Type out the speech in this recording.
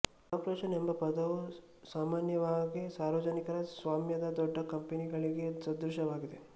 corporation ಎಂಬ ಪದವು ಸಾಮಾನ್ಯವಾಗಿ ಸಾರ್ವಜನಿಕ ಸ್ವಾಮ್ಯದ ದೊಡ್ಡ ಕಂಪನಿಗಳಿಗೆ ಸದೃಶವಾಗಿದೆ